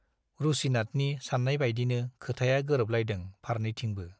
रुसिनाथनि सान्नायबायदिनो खोथाया गोरोबलायदों फारनैथिंबो।